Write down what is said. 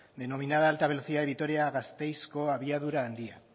denominada alta velocidad vitoria gasteizko abiadura handia